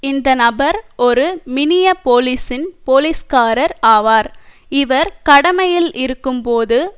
இந்த நபர் ஒரு மினியபோலிசின் போலீஸ்காரர் ஆவார் இவர் கடமையில் இருக்கும்போது